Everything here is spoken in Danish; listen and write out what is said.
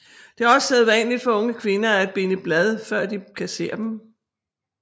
Det er også sædvanligt for unge kvinder at binde blad før de kasserer dem